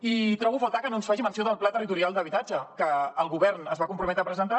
i trobo a faltar que no ens faci menció del pla territorial d’habitatge que el govern es va comprometre a presentar